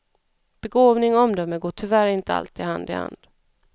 Begåvning och omdöme går tyvärr inte alltid hand i hand.